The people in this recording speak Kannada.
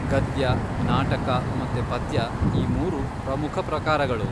ಗದ್ಯ, ನಾಟಕ ಮತ್ತೆ ಪದ್ಯ ಈ ಮೂರು ಪ್ರಮುಖ ಪ್ರಕಾರಗಳು.